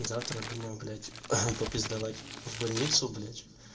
завтра думаю блять попиздовать в больницу блять